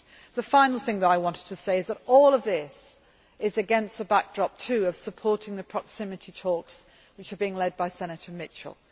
The final thing that I wanted to say is that all of this is against a backdrop of supporting the proximity talks which are being led by Senator Mitchell.